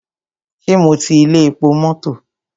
Ṣé mo ti ilé epo mọ́tọ̀?